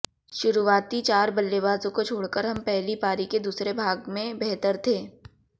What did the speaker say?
शुरुआती चार बल्लेबाजों को छोड़कर हम पहली पारी के दूसरे भाग में बेहतर थे